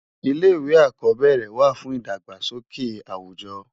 Ilé iwé ákòbèrè wá fún idágbásóké áwújò